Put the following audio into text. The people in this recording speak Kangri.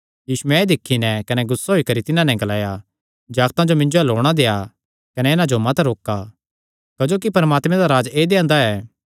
यीशुयैं एह़ दिक्खी नैं कने नराज होई करी तिन्हां नैं ग्लाया जागतां जो मिन्जो अल्ल औणां देआ कने इन्हां जो मत रोका क्जोकि परमात्मे दा राज्ज ऐदेयां दा ऐ